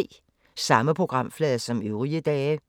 Samme programflade som øvrige dage